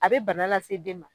A bɛ bana lase den ma